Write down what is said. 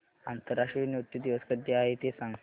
आंतरराष्ट्रीय नृत्य दिवस कधी आहे ते सांग